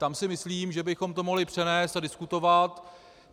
Tam si myslím, že bychom to mohli přenést a diskutovat.